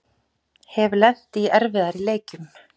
Hef lent í erfiðari leikjum